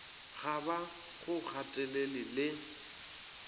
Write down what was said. ga ba go gatelele le